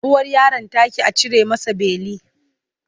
Uwar yaron ta ƙi a cire masa beli.